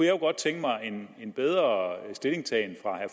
jo godt tænke mig en bedre stillingtagen fra